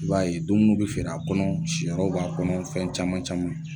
I b'a ye dumuni bɛ feere a kɔnɔ, siyɔrɔ b'a kɔnɔ, fɛn caman caman